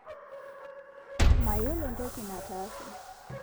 Mayiolo ntoki nataase